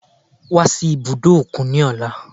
Wá sí ibùdó òkun ní ọ̀la